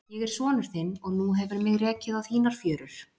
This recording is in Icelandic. Ég er sonur þinn og nú hefur mig rekið á þínar fjörur.